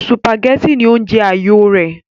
sùpàgẹ́tì ní oúnjẹ àyò rẹ̀